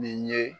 Nin ye